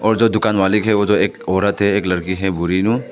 और जो दुकान मालिक है वह तो एक औरत है एक लड़की है बूढ़ी नू--